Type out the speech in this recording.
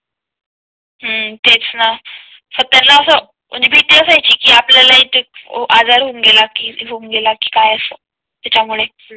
हम्म तेच ना सगळ्यांना असं म्हणजे भीती असायची आपल्या ला इथे आजार होऊन गेला की होऊन गेला की काय असे त्यामुळे